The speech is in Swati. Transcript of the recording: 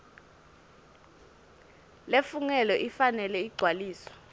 lefungelwe ifanele igcwaliswe